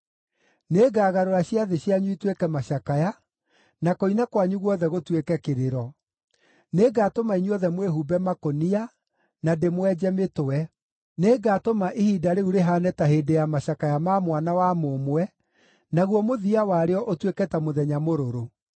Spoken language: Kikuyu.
Nĩngagarũra ciathĩ cianyu ituĩke macakaya, na kũina kwanyu guothe gũtuĩke kĩrĩro. Nĩngatũma inyuothe mwĩhumbe makũnia, na ndĩmwenje mĩtwe. Nĩngatũma ihinda rĩu rĩhaane ta hĩndĩ ya macakaya ma mwana wa mũmwe, naguo mũthia warĩo ũtuĩke ta mũthenya mũrũrũ.”